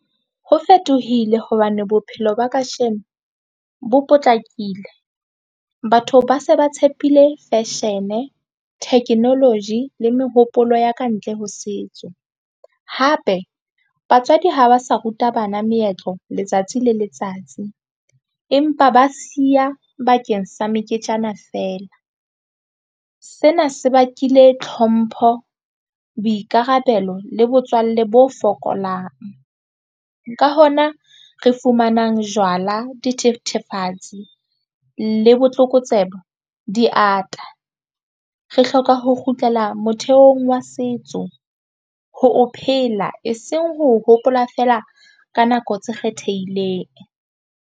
Ho fetohile hobane bophelo ba kasheno bo potlakile batho ba se ba tshepile fashion, technology le mehopolo ya kantle ho setso. Hape batswadi ha ba sa ruta bana meetlo letsatsi le letsatsi, empa ba siya bakeng sa meketjana fela. Sena se bakile tlhompho, boikarabelo le botswalle bo fokolang ka hona re fumanang jwala dithethefatsi le botlokotsebe di ata re hloka ho kgutlela motheong wa setso ho o phela eseng ho hopola feela ka nako tse kgethehileng.